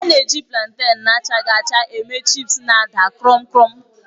A na-eji plantèn na-achaghị acga eme chịpsi na-ada kruum kruum.